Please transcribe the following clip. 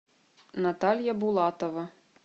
наталья булатова